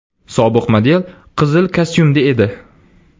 Sobiq model qizil kostyumda edi.